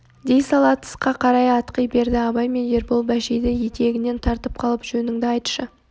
дей сала тысқа қарай атқи берді абай мен ербол бәшейді етегінен тартып қалып жөніңді айтшы